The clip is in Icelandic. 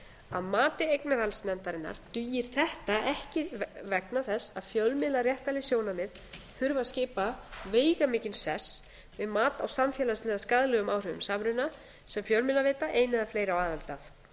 að mati eignarhaldsnefndarinnar dugir þetta ekki vegna þess að fjölmiðlaréttarleg sjónarmið þurfa að skipa veigamikinn sess við mat á samfélagslega skaðlegum áhrifum samruna sem fjölmiðlaveita ein eða fleiri á aðild